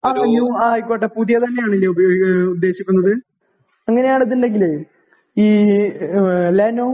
ആ ന്യൂ. ആയിക്കോട്ടെ. പുതിയ തന്നെയാണ് അല്ലേ ഉദ്ദേശിക്കുന്നത്? അങ്ങനെയാണെന്നുണ്ടെങ്കിൽ ഈ ലെനോവോ